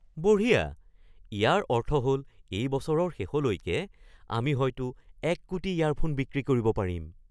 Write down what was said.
বঢ়িয়া! ইয়াৰ অৰ্থ হল এই বছৰৰ শেষলৈকে আমি হয়তো এক কোটি ইয়াৰফোন বিক্ৰী কৰিব পাৰিম!